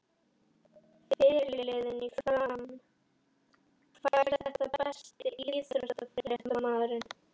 Fyrirliðinn í Fram fær þetta Besti íþróttafréttamaðurinn?